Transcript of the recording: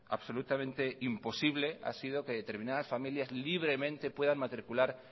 absolutamente imposible ha sido que determinadas familias libremente puedan matricular